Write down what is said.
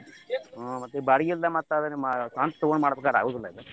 ಹ್ಮ್ ಬಾಡ್ಗಿ ಇಲ್ಲದ ಮತ್ತ್ ಅದ ಸ್ವಂತ ತಗೊಂಡ ಮಾಡ್ಬೇಕಂದ್ರ ಆಗುದಿಲ್ಲ ಇದು.